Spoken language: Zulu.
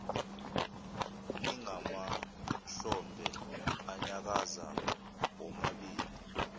nangamahlombe anyakaza womabili